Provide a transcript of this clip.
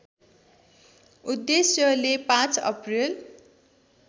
उद्देश्यले ५ अप्रिल